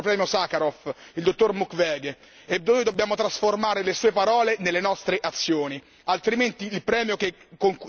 Ce l'ha chiesto quest'anno un grande uomo, il nostro Premio Sakharov, il dottor Mukwege, e noi dobbiamo trasformare le sue parole nelle nostre azioni.